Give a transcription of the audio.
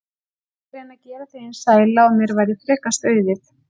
Ég vildi reyna að gera þig eins sæla og mér væri frekast auðið.